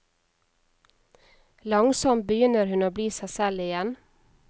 Langsomt begynner hun å bli seg selv igjen.